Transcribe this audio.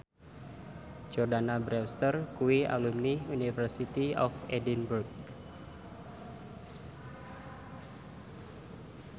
Jordana Brewster kuwi alumni University of Edinburgh